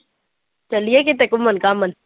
ਚੱਲੀਏ ਕਿਤੇ ਘੁੰਮਣ ਘਾਮਣ